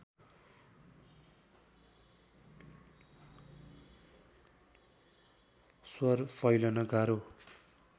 स्वर फैलन गाह्रो